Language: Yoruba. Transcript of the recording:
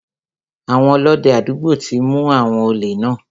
Àwọn Ọlọ́dẹ àdúgbò ti mu àwọn òlè náà.